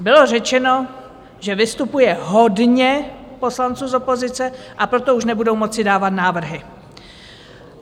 Bylo řečeno, že vystupuje hodně poslanců z opozice, a proto už nebudou moci dávat návrhy.